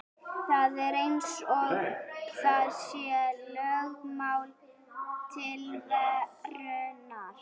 Það er eins og það sé lögmál tilverunnar.